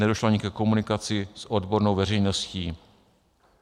Nedošlo ani ke komunikaci s odbornou veřejností.